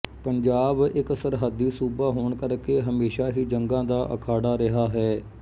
ਪੰਜਾਬ ਇੱਕ ਸਰਹੱਦੀ ਸੂਬਾ ਹੋਣ ਕਰਕੇ ਹਮੇਸ਼ਾ ਹੀ ਜੰਗਾਂ ਦਾ ਅਖਾੜਾ ਰਿਹਾ ਹੈ